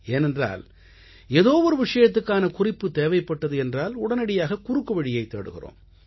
ஏனென்றால் ஏதோ ஒரு விஷயத்துக்கான குறிப்பு தேவைப்பட்டது என்றால் உடனடியாக குறுக்குவழியைத் தேடுகிறோம்